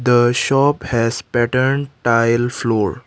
the shop has pattern tile floor.